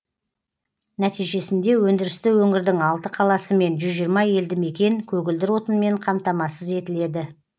нәтижесінде өндірісті өңірдің алты қаласы мен жүз жиырма елді мекен көгілдір отынмен қамтамасыз етіледі